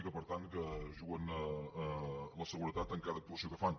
i que per tant es juguen la seguretat en cada actuació que fan